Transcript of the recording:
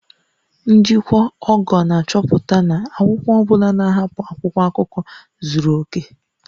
Njikwa ogo na-achọpụta na akwụkwọ ọ bụla na-ahapụ akwụkwọ akụkọ zuru oke